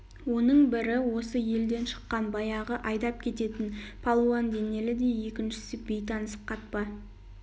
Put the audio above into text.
оның бірі осы елден шыққан баяғы айдап кететін палуан денелі де екіншісі бейтаныс қатпа